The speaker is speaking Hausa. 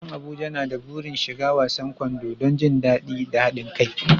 Yaran Abuja na da burin shiga wasan kwando don jin daɗi da haɗin kai.